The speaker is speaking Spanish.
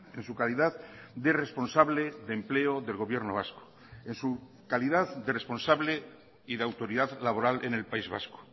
en su calidad de responsable de empleo del gobierno vasco en su calidad de responsable y la autoridad laboral en el país vasco